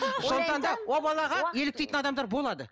сондықтан да ол балаға еліктейтін адамдар болады